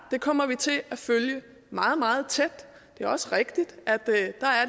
det kommer vi til at følge meget meget tæt det er også rigtigt at der er et